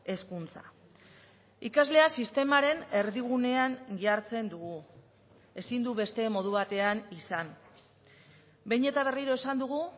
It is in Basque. hezkuntza ikaslea sistemaren erdigunean jartzen dugu ezin du beste modu batean izan behin eta berriro esan dugu